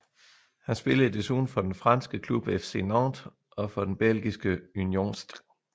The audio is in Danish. Han spillede desuden for den franske klub FC Nantes og for belgiske Union St